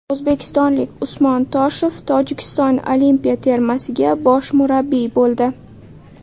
O‘zbekistonlik Usmon Toshev Tojikiston olimpiya termasiga bosh murabbiy bo‘ldi.